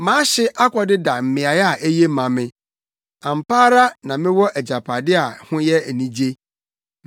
Mʼahye akɔdeda mmeae a eye ama me; ampa ara mewɔ agyapade a ho yɛ anigye.